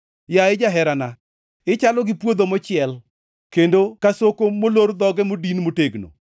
Yaye jaherana, ichalo gi puodho mochiel; kendo ka soko molor dhoge modin motegno.